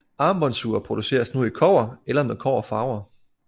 Armbåndsure produceres nu i kobber eller med kobberfarve